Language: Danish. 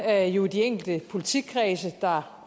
er jo de enkelte politikredse der